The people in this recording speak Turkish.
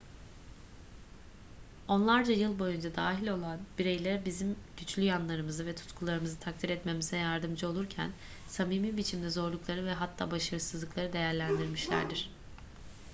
onlarca yıl boyunca dahil olan bireyler bizim güçlü yanlarımızı ve tutkularımızı takdir etmemize yardımcı olurlarken samimi biçimde zorlukları ve hatta başarısızlıkları değerlendirmişlerdir